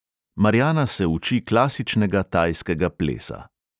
Marjana se uči klasičnega tajskega plesa.